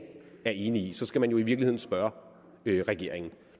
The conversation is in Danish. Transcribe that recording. er enig i så skal man jo i virkeligheden spørge regeringen